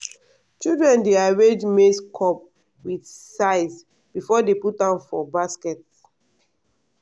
children dey arrange maize cob with size before dey put am for basket.